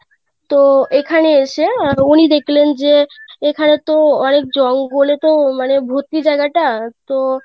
তো এখানে এসে উনি দেখলেন যে এখানে তো অনেক জঙ্গলে তো মানে ভর্তি যায়গা টা তো